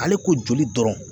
Ale ko joli dɔrɔn